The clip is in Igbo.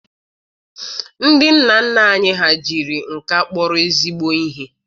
Ndị nna nna anyị ha jiri nka kpọrọ ezigbo ihe.